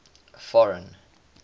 foreign